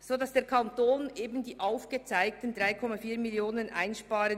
Damit wird der Kanton die aufgezeigten 3,4 Mio. Franken einsparen.